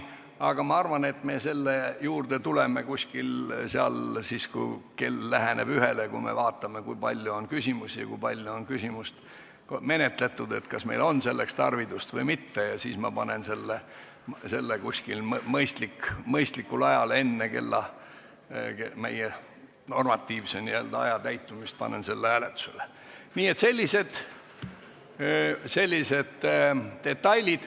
Aga ma arvan, et me tuleme selle juurde tagasi siis, kui kell läheneb ühele – siis vaatame, kui palju on veel küsimusi, kui kaua on aega kulunud ja kas meil on pikendamiseks tarvidust või mitte ning ma panen mõistlikul ajal selle hääletusele.